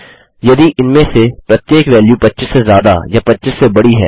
यदि इनमें से प्रत्येक वैल्यू 25 से ज्यादा या 25 से बड़ी है